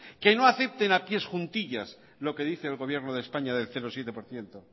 que no acepten de pies juntillas lo que dice el gobierno de españa del cero coma siete por ciento